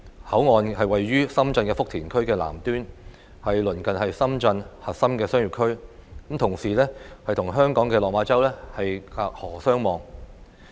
口岸座落於深圳福田區的南端，鄰近深圳核心商業區，同時與香港的落馬洲隔河相望。